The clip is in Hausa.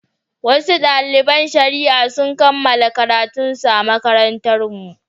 Wasu daliban shari'a sun kammala karatunsu a makarantarmu.